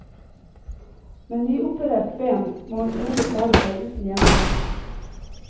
Med nyoperert ben må hun trolig klare seg uten hjemmehjelp.